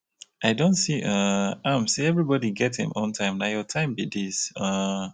i don see um am sey everybodi get im own time na your time be dis. um